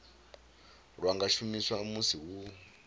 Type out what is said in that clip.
lwa nga shumiswa musi hu